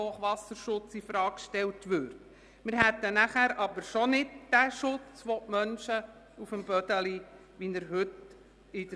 Hochwasserschutz Bödeli, Lütschine, Abschnitt Wilderswil.».